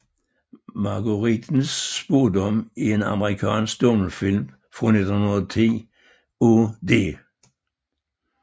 Marguerittens Spaadom er en amerikansk stumfilm fra 1910 af D